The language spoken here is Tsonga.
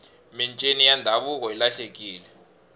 mincini ya ndhavuko yi lahlekile